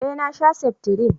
eh na sha seftrin